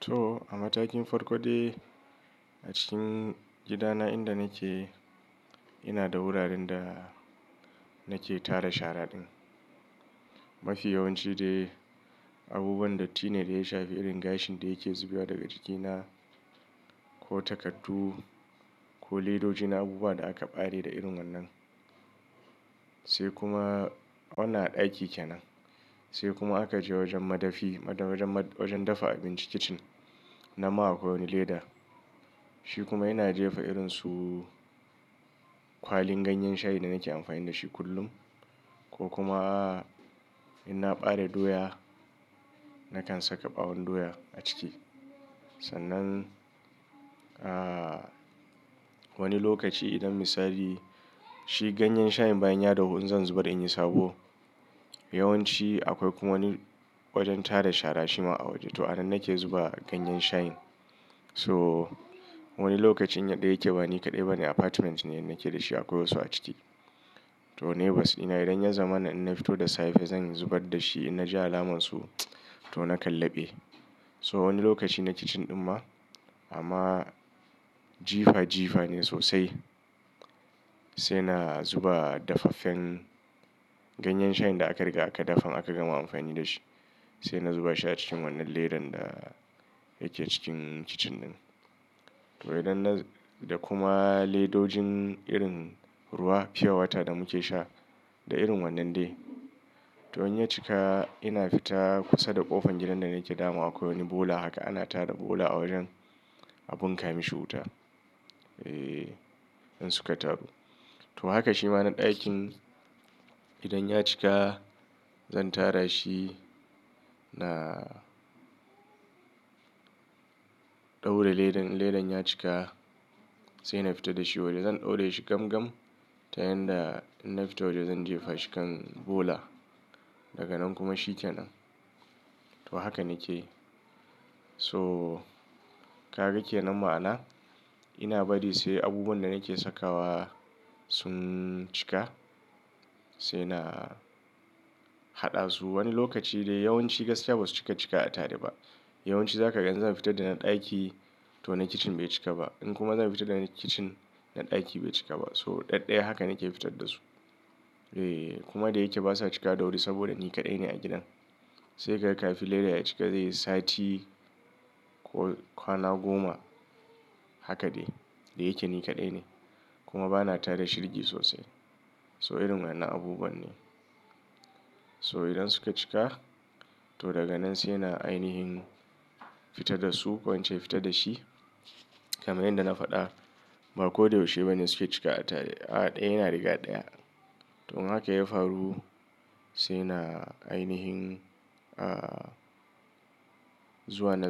To a matakin farko dai a cikin gidana inda nake, ina da wuraren da nake tara shara din. Mafiya yawanci dai abubuwan darti ne da ya shafi irin gashin da yake zubewa daga jikina ko takardu ko ledoji na abubuwa da aka bare da irin wannan. Sai kuma wannan a ɗaki kenan. Sai kuma aka je wajen madafi wajen dafa abinci kitchen nan ma akwai leda. Shi kuma yana jefa irin su kwalin ganyen shayi da nake amfani da shi kullum ko kuma in na bare doya nakan saka ɓawon doya a ciki. San'nan, a wani lokaci idan misali shi ganyen shayin bayan ya dahu in zan zubar in yi sabo. Yawanci akwai kuma wani wajen tara shara shima a waje. To a nan nake zuba ganyen shayin. So wani lokacin yanda yake bani kaɗai bane apartment ne, ina nake da shi akwai wasu a ciki. To neighbors ina idan ya zamana ina fito da safe zan zubar da shi in na ji alamun su to nakan laɓe. So wani lokaci na kitchen din ma amma jifa jifa ne sosai. Sai na zuba daffafen ganyen shayin da aka riga aka dafan aka gama amfani da shi. Sai na zuba shi a cikin wannan ledan da yake cikin kitchen din. To idan na da kuma ledojin irin ruwa pure water da muke sha da irin wannan dai. To in ya cika ina fita kusa da ƙofar gidan da nake dama akwai wani bola haka ana tara bola a wajen a bunka mishi wuta. Eh in suka taru. To haka shi ma na ɗakin idan ya cika zan tara shi na ɗaura ledan, ledan ya cika sai na fita da shi waje zan ɗaurr shi gam gam ta yanda in na fito waje zan jefa shi kan bola. Daga nan kuma shi kenan. To haka nake yi. So ka ga kenan ma'ana? Ina bari sai abubuwan da nake sakawa sun cika sai na haɗa su. Wani lokaci dai yawanci gaskiya ba su cika cika a tare ba. Yawanci za ka gan in za fita da na ɗaki to na kitchen bai cika ba. In kuma zan fita da na kitchen na ɗaki bai cika ba. So ɗaɗɗaya haka nake fitar da su. Eh kuma da yake basa cika da wuri saboda ni kaɗai ne a gidan. Sai ka ga kafin ledan ya cika zai yi sati ko kwana goma. Haka dai. Da yake ni kaɗai ne kuma bana tara shirge sosai. So irin wannan abubuwan ne. So idan suka cika to daga nan sai na ainihin fita da su ko inche fita da shi kamar yanda na faɗa. Ba ko da yaushe bane suke cika a tare. A ɗaya yana riga ɗaya. To in hakan ya faru sai na ainihin a zuwa na,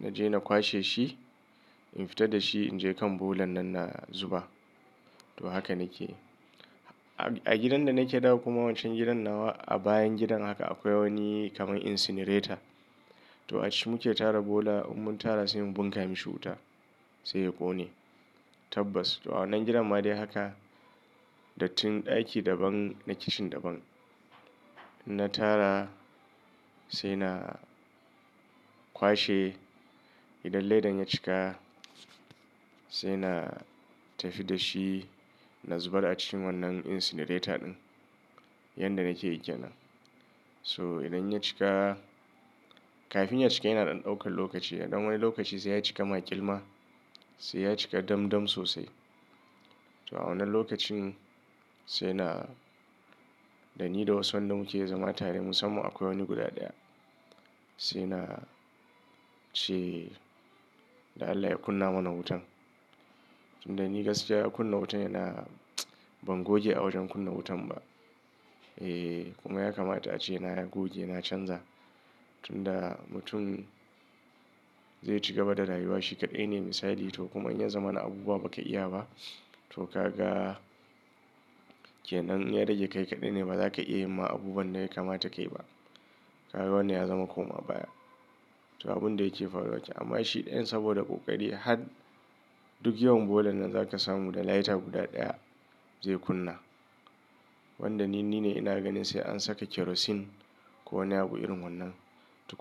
na je na kwashe shi. In fita da shi in je kan bola nan na zuba. To haka nake yi. A gidan da nake da kuma wanchan gidan nawa a bayan gidan haka akwai wani kamar incinerator. To a ciki muke tara bola in mun tara sai mu bunkame shi wuta sai ya ƙone. Tabbas. To a wannan gidan ma dai haka da tun ɗaki daban na kitchen daban. In na tara, sai na kwashe. Idan ledan ya cika sai na tafi da shi na zubar a cikin wannan incinerator din. Yanda nake yi kenan. So idan ya cika kafin ya cika yana dan ɗaukan lokaci. Idan wani lokaci sai ya cika ma ƙilma sai ya cika dam dam sosai. To a wannan lokacin sai na, da ni da wasun da wanda muke zama tare musamman akwai wani guda ɗaya. Sai na ce, da Allah ya kunna mana wutan. Tun da ni gaskiya kunna wutan yana ban goge a wajen kunna wutan ba. Eh kuma ya kamata ace na goge na canza. Tun da mutum zai cigaba da rayuwa shi kaɗai ne misali to kuma in ya zama na abubuwa ba ka iya ba to ka ga kenan ya rage kai kaɗai ne ba za ka iya ma abubuwan da ya kamata ka yi ba. Ka ga wannan ya zama koma baya. To abun da yake faruwa wace amma shi ɗayan saboda ƙoƙari har duk yawan bola nan za ka samu da lighter guda ɗaya zai kunna. Wanda ni, ni ne ina ganin sai an saka kerosene ko wani abu irin wannan.